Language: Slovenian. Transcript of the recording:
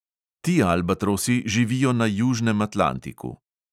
Ti albatrosi živijo na južnem atlantiku.